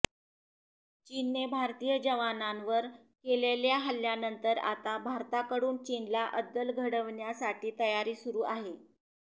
चीनने भारतीय जवानांवर केलेल्या हल्ल्यानंतर आता भारताकडून चीनला अद्दल घडवण्यासाठी तयारी सुरू आहे